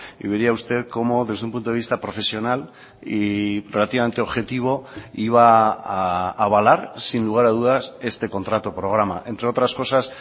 y vería usted como desde un punto de vista profesional y relativamente objetivo iba a avalar sin lugar a dudas este contrato programa entre otras cosas